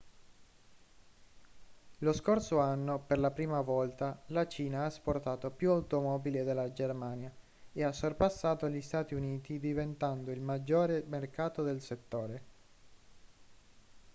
lo scorso anno per la prima volta la cina ha esportato più automobili della germania e ha sorpassato gli stati uniti diventando il maggiore mercato del settore